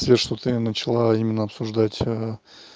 те что ты начала именно обсуждать